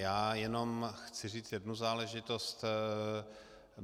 Já jenom chci říct jednu záležitost.